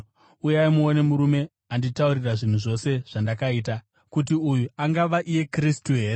“Uyai, muone murume anditaurira zvinhu zvose zvandakaita. Kuti uyu angava iye Kristu here?”